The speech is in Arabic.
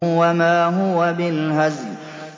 وَمَا هُوَ بِالْهَزْلِ